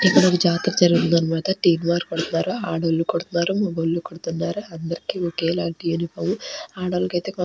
ఇక్కడ ఒక జాతర జరుగుతుందన్నమాట తీన్మార్ కొడుతున్నారు ఆడోళ్ళు కొడుతున్నారు మొగోళ్ళు కొడుతున్నారు అందరికీ ఒకేలాంటి యూనిఫామ్ ఆడోల్లకు అయితే --